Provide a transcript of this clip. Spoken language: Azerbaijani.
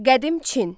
Qədim Çin.